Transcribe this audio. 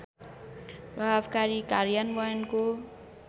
प्रभावकारी कार्यान्वयनको